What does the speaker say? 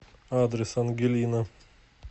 адрес ангелина